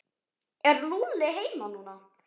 Er Lúlli heima núna?